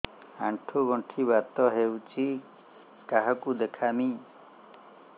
ଆଣ୍ଠୁ ଗଣ୍ଠି ବାତ ହେଇଚି କାହାକୁ ଦେଖାମି